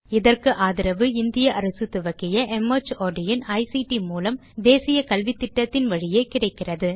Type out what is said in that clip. இதற்கு ஆதரவு இந்திய அரசு துவக்கிய மார்ட் இன் ஐசிடி மூலம் தேசிய கல்வித்திட்டத்தின் வழியே கிடைக்கிறது